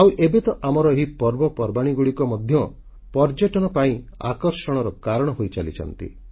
ଆଉ ଏବେ ତ ଆମର ଏହି ପର୍ବପର୍ବାଣୀଗୁଡ଼ିକ ମଧ୍ୟ ପର୍ଯ୍ୟଟନ ପାଇଁ ଆକର୍ଷଣର କାରଣ ହୋଇଚାଲିଛନ୍ତି